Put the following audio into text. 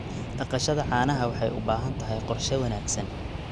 Dhaqashada caanaha waxay u baahan tahay qorshe wanaagsan.